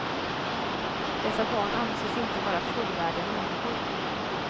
Dessa barn anses inte vara fullvärdiga människor.